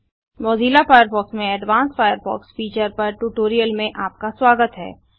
Mozilla Firefox में advanced Firefox features पर tutorial में आपका स्वागत है